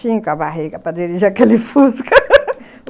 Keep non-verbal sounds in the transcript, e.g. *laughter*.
Cinco a barriga para dirigir aquele Fusca *laughs*